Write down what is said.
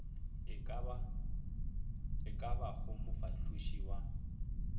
e ka bago mofahloši wa